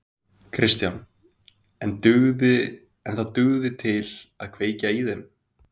Kristján: En það dugði til að kveikja í þeim?